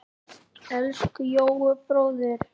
Elsku Jói bróðir.